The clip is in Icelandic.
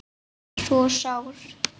svo sár